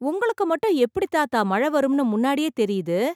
உங்களுக்கு மட்டும் எப்படி தாத்தா மழை வரும்னு முன்னாடியே தெரியுது?